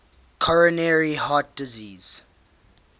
coronary heart disease